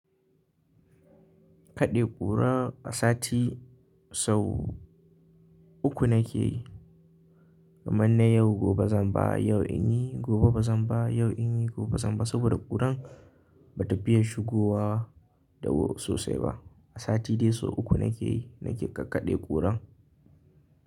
Kaɗe ƙura a sati sau uku nake yi. Kamar na yau gobe zan ba, yau inyi gobe bazan ba, yau inyi gobe bazan ba saboda ƙuran bata fiye shigowa da wuri sosai ba. A sati dai sau uku nake yi, nake kakkaɗe ƙura.